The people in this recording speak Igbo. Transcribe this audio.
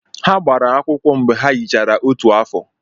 Ha gbara akwụkwọ mgbe ha yichara otu afọ.